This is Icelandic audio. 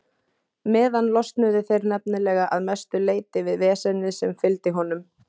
meðan losnuðu þeir nefnilega að mestu leyti við vesenið sem fylgdi honum.